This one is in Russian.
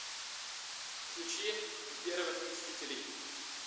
включи первых мстителей